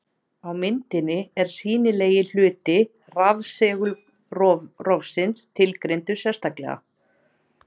Á myndinni er sýnilegi hluti rafsegulrófsins tilgreindur sérstaklega.